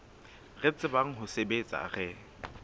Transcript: re tsebang ho sebetsa re